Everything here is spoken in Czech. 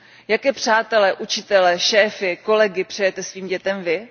Jaké přátele, učitele, šéfy, kolegy přejete svým dětem vy?